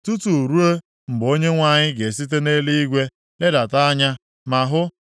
tutu ruo mgbe Onyenwe anyị ga-esite nʼeluigwe ledata anya ma hụ.